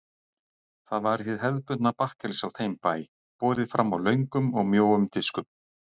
Það var hið hefðbundna bakkelsi á þeim bæ, borið fram á löngum og mjóum diskum.